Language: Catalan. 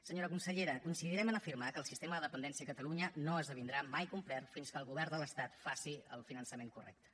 senyora consellera coincidirem a afirmar que el sistema de dependència a calalunya no esdevindrà mai complet fins que el govern de l’estat faci el finançament correcte